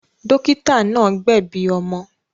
Dọ́kítá náà gbẹ̀bi ọmọ.